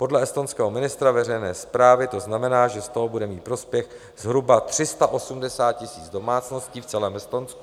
Podle estonského ministra veřejné správy to znamená, že z toho bude mít prospěch zhruba 380 000 domácností v celém Estonsku.